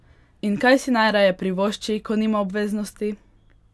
In kaj si najraje privošči, ko nima obveznosti?